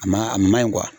A ma a ma ɲi